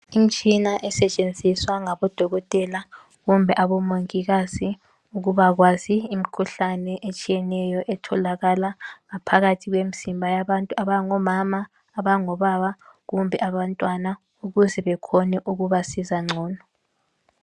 Imtshina esetshenziswa ngabodokotela kumbe omongikazi ukubakwazi imikhuhlane etshiyeneyo etshiyeneyo etholakala ngaphakathi kwemzimba yabantu abangomama, abangobaba kumbe abantwana ukuze bekhone ukubasiza ngcono